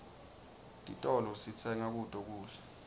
titolo sitsenga kuto kudla